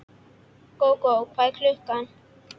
Gógó, hvað er klukkan?